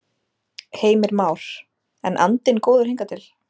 Heimir Már: En andinn góður hingað til?